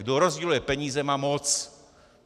Kdo rozděluje peníze, má moc.